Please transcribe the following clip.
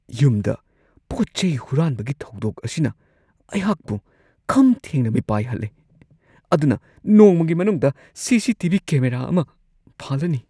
ꯌꯨꯝꯗ ꯄꯣꯠ-ꯆꯩ ꯍꯨꯔꯥꯟꯕꯒꯤ ꯊꯧꯗꯣꯛ ꯑꯁꯤꯅ ꯑꯩꯍꯥꯛꯄꯨ ꯈꯝ ꯊꯦꯡꯅ ꯃꯤꯄꯥꯏꯍꯜꯂꯦ ꯑꯗꯨꯅ ꯅꯣꯡꯃꯒꯤ ꯃꯅꯨꯡꯗ C. C. T. V. Camera ꯑꯃ ꯄꯥꯜꯂꯅꯤ ꯫ (ꯁꯤꯇꯤꯖꯟ)